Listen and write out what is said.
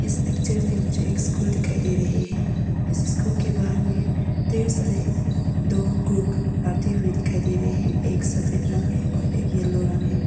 इस पिक्चर में मुझे एक स्कूल दिखाई दे रहे है इस स्कूल के बाहर में ढेर सारे दो ग्रुप बाटे हुए दिखाई दे रहे हैं एक सफेद रंग है एक येलो रंग है।